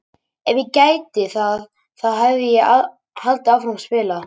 Ef ég gæti það þá hefði ég haldið áfram að spila!